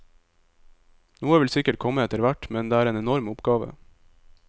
Noe vil sikkert komme etterhvert, men det er en enorm oppgave.